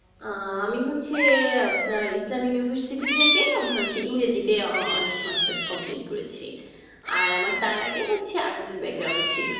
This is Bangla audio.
আহ আমি হচ্ছি আপনার islam university থেকে আপনার হচ্ছে ইংরেজি তে honers masters complete করেছি। আর আমার তার আগে হচ্ছে Arts এর ছিল।